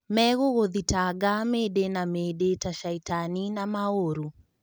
Megũgũthitanga mĩndĩ na mĩndĩ ta caitani na maũru."